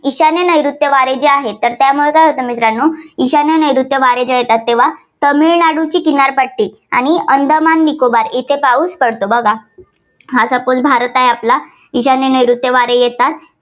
ईशान्य नैऋत्य वारे जे आहे, तर त्यामुळे काय होतं मित्रांनो ईशान्य नैऋत्य वारे जे येतात तेव्हा तामिळनाडूची किनारपट्टी आणि अंदमान निकोबार येथे पाऊस पडतो. बघा. हाच आपण भारत आहे आपला. ईशान्य आणि नैऋत्य वारे येतात.